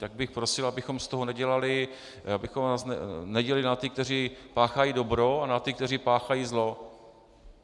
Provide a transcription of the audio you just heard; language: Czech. Tak bych prosil, abychom z toho nedělali, abychom nás nedělili na ty, kteří páchají dobro, a na ty, kteří páchají zlo.